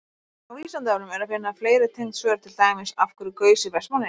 Á Vísindavefnum er að finna fleiri tengd svör, til dæmis: Af hverju gaus í Vestmannaeyjum?